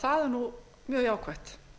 það er mjög jákvætt